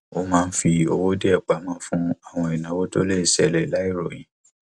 ó máa ń fi owó díẹ pamọ fún àwọn ìnáwó tó lè ṣẹlè láìròyìn